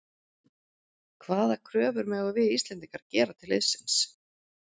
Hvaða kröfur megum við Íslendingar gera til liðsins?